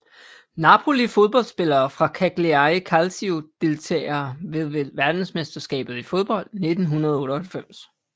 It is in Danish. Napoli Fodboldspillere fra Cagliari Calcio Deltagere ved verdensmesterskabet i fodbold 1998